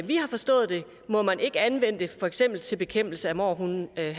vi har forstået det må man ikke anvende det for eksempel bekæmpelse af mårhunde men